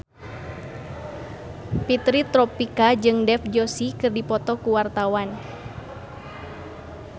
Fitri Tropika jeung Dev Joshi keur dipoto ku wartawan